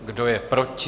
Kdo je proti?